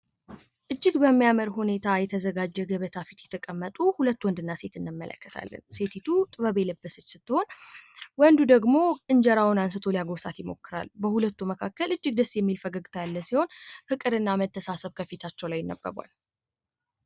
እጅግ በሚያመር ሁኔታ የተዘጋጀ ገበታ ፊት የተቀመጡ ሁለት ወንድና ሴት እንመለከታለን ሴቲቱ ጥበብ የለበሰች ስትሆን ወንዱ ደግሞ እንጀራውን አንስቶ ሊያጎርሳት ይሞክራል። በሁለቱ መካከል እጅግ ደስ የሚል ፈገግታ ያለ ሲሆን ፍቅርና መተሳሰብ ከፊታቸው ላይ ይነበባል።